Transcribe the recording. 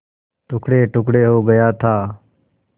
टुकड़ेटुकड़े हो गया था